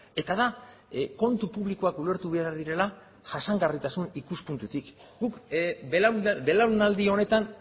eta da kontu publikoak ulertu behar direla jasangarritasun ikuspuntutik guk belaunaldi honetan